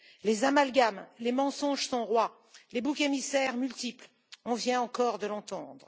les amalgames, les mensonges sont rois, les boucs émissaires multiples on vient encore de l'entendre.